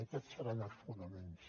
aquests seran els fonaments